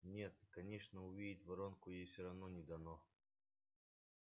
нет конечно увидеть воронку ей все равно не дано